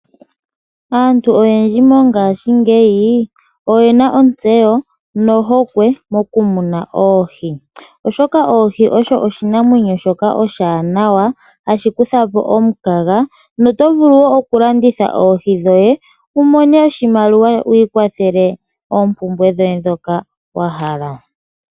Aantu oyendji mongaashingeyi oyena ontseyo nohokwe mokumuna oohi, oshoka oohi odho oshinamwenyo shoka oshiwanawa hashi kutha po omukaga noto vulu wo okulanditha oohi dhoye wu mone oshimaliwa wu ikwathele oompumbwe dhoye ndhoka wa hala.